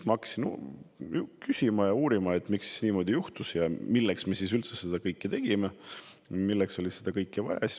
Ma hakkasin siis küsima ja uurima, miks see niimoodi juhtus ja milleks me üldse seda kõike tegime, milleks seda kõike vaja oli.